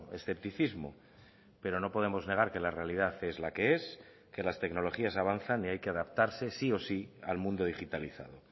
escepticismo pero no podemos negar que la realidad es la que es que las tecnologías avanzan y hay que adaptarse sí o sí al mundo digitalizado